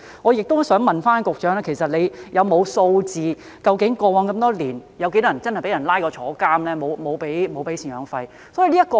我想問局長，有否備存數字，顯示過往這麼多年，究竟有多少人真的因為沒有支付贍養費而被捕入獄呢？